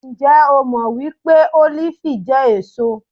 Ǹjẹ́ o jẹ́ mọ́ wípé Ólífì jẹ́ èso?